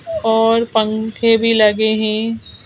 और पंखे भी लगे हैं--